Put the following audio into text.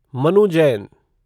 Manu Jain